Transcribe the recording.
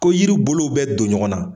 Ko yiri bolo bɛ don ɲɔgɔn na .